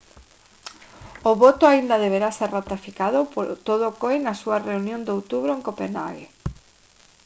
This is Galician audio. o voto aínda deberá ser ratificado polo todo o coi na súa reunión de outubro en copenhage